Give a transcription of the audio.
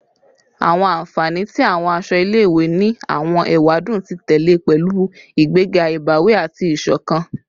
Awọn anfani ti awọn aṣọ ile-iwe ni awọn ewadun ti tẹlẹ pẹlu igbega ibawi ati isokan